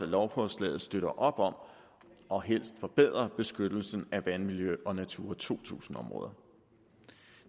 lovforslaget støtter op om og helst forbedrer beskyttelsen af vandmiljø og natura to tusind områder